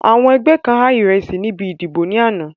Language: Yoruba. Àwọn ẹgbẹ́ kan há ìrẹsí níbi ìdìbò ní àná